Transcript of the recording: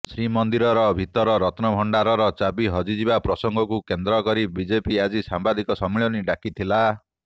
ଶ୍ରୀମନ୍ଦିରର ଭିତର ରତ୍ନଭଣ୍ଡାର ଚାବି ହଜିଯିବା ପ୍ରସଙ୍ଗକୁ କେନ୍ଦ୍ର କରି ବିଜେପି ଆଜି ସାମ୍ବାଦିକ ସମ୍ମିଳନୀ ଡାକିଥିଲା